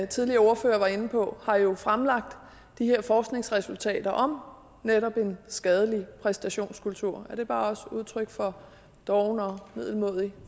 tidligere ordfører var inde på har jo fremlagt de her forskningsresultater om netop en skadelig præstationskultur er det også bare et udtryk for doven og middelmådig